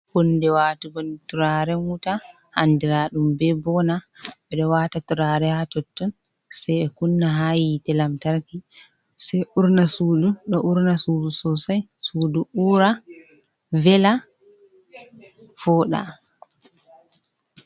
Hunde watugo turare wuta andiraɗum be bona, ɓe ɗo wata turare ha totton sai ɓe kunna ha yiite lamtarki sai resa ha suud ɗo urna sudu sosai, suudu ura vela woɗa.